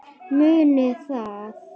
Munið það.